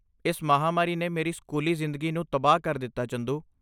ਇਸ ਮਹਾਂਮਾਰੀ ਨੇ ਮੇਰੀ ਸਕੂਲੀ ਜ਼ਿੰਦਗੀ ਨੂੰ ਤਬਾਹ ਕਰ ਦਿੱਤਾ, ਚੰਦੂ।